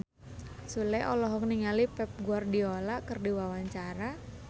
Sule olohok ningali Pep Guardiola keur diwawancara